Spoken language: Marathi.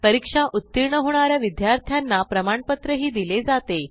परीक्षा उत्तीर्ण होणा या विद्यार्थ्यांना प्रमाणपत्रही दिले जाते